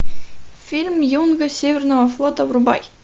фильм юнга северного флота врубай